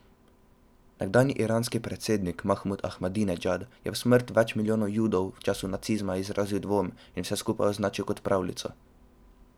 Nekdanji iranski predsednik Mahmud Ahmadinedžad je v smrt več milijonov Judov v času nacizma izrazil dvom in vse skupaj označil za pravljico.